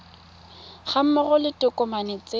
ga mmogo le ditokomane tse